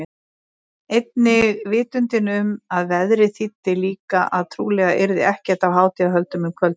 Einnig vitundin um að veðrið þýddi líka að trúlega yrði ekkert af hátíðahöldum um kvöldið.